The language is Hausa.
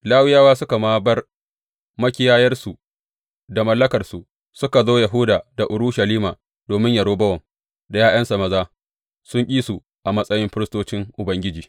Lawiyawa suka ma bar makiyayansu da mallakarsu, suka zo Yahuda da Urushalima domin Yerobowam da ’ya’yansa maza sun ƙi su a matsayin firistocin Ubangiji.